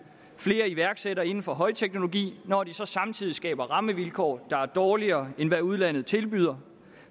flere iværksættere inden for højteknologi når de så samtidig skaber rammevilkår der er dårligere end hvad udlandet tilbyder